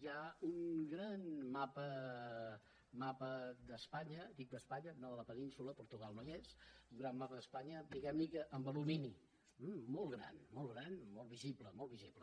hi ha un gran mapa d’espanya dic d’espanya no de la península portugal no hi és diguem ne que en alumini molt gran molt gran molt visible molt visible